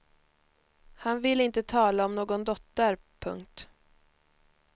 Han vill inte tala om någon dotter. punkt